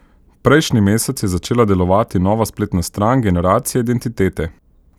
Prejšnji mesec je začela delovati nova spletna stran Generacije identitete.